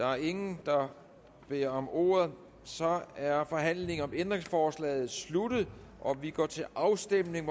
der er ingen der beder om ordet og så er forhandlingen om ændringsforslaget sluttet og vi går til afstemning